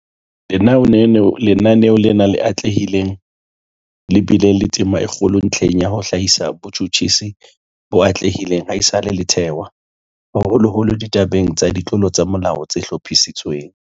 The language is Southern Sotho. Lenaneo lena le atlehileng le bile le tema e kgolo ntlheng ya ho hlahisa botjhutjhisi bo atlehileng ha esale le thewa, haholoholo ditabeng tsa ditlolo tsa molao tse hlophisitsweng.